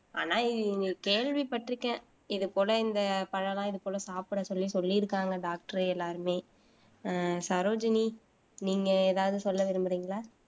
ஆனா நீங்க கேள்விப்பட்டிருக்கேன் இது போல இந்த பழம்லாம் இது போல சாப்பிட சொல்லி சொல்லி இருக்காங்க டாக்டர் எல்லாருமே ஆஹ் சரோஜினி நீங்க ஏதாவது சொல்ல விரும்புறீங்களா